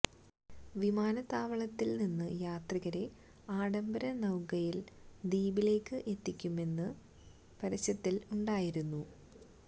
വിമാനത്താവളത്തില് നിന്ന് യാത്രികരെ ആഢംബര നൌകയില് ദ്വീപിലേക്ക് എത്തിക്കുമെന്നും പരസ്യത്തില് ഉണ്ടായിരുന്നു